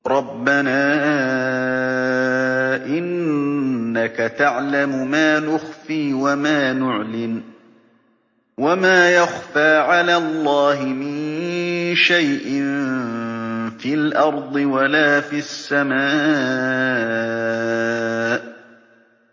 رَبَّنَا إِنَّكَ تَعْلَمُ مَا نُخْفِي وَمَا نُعْلِنُ ۗ وَمَا يَخْفَىٰ عَلَى اللَّهِ مِن شَيْءٍ فِي الْأَرْضِ وَلَا فِي السَّمَاءِ